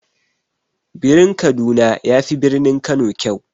Birin kaduna yafi birnin kano kyau.